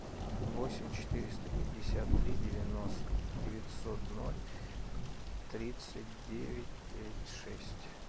восемь четыреста пятьдесят три девятьсот ноль тридцать девять пять шесть